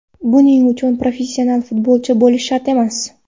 Buning uchun professional futbolchi bo‘lish shart emas.